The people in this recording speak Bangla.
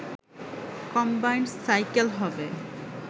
কম্বাইনড সাইকেল হবে